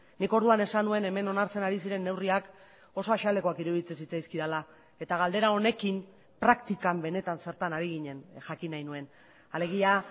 nik orduan esan nuen hemen onartzen ari ziren neurriak oso azalekoak iruditzen zitzaizkidala eta galdera honekin praktikan benetan zertan ari ginen jakin nahi nuen alegia